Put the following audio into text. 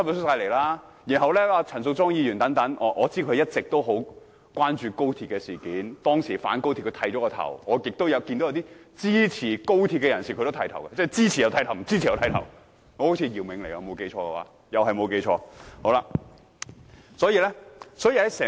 我知道陳淑莊議員一直十分關注高鐵事件，當初反高鐵時，她甚至剃頭，但也有些支持高鐵的人士剃頭，即支持和反對高鐵人士中，都有人剃頭。